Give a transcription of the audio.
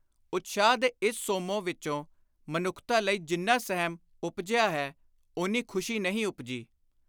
ਉਤਸ਼ਾਹ ਦੇ ਇਸ ਸੋਮੋਂ ਵਿਚੋਂ ਮਨੁੱਖਤਾ ਲਈ ਜਿੰਨਾ ਸਹਿਮ ਉਪਜਿਆ ਹੈ, ਓਨੀ ਖ਼ੁਸ਼ੀ ਨਹੀਂ ਉਪਜੀ।